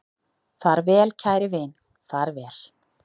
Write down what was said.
Far vel kæri vin, far vel